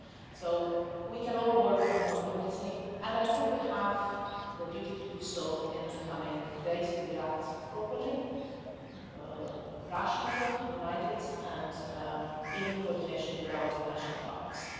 So we can all work on more unity, and I think we have the duty to do so in the coming days to react properly, rationally, united and in coordination with our international partners.